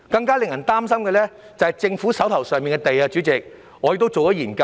更令人擔心的是，政府可供推售的用地面積越來越小。